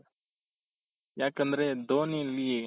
ಯಾಕಂದ್ರೆ ಧೋನಿಲಿ